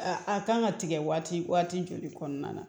A kan ka tigɛ waati joli kɔnɔna na